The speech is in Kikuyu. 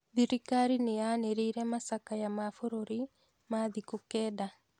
Thirikari nĩ yanĩrĩire macakaya ma bũrũri ma thikũ kenda.